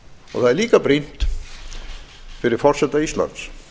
það er líka brýnt fyrir forseta íslands